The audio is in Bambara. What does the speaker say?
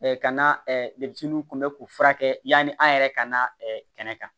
ka na debetisiw kun bɛ k'u furakɛ yani an yɛrɛ ka na kɛnɛ kan